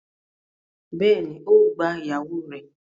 Bẹ́ẹ̀ni, ó gba ìyàwó rẹ̀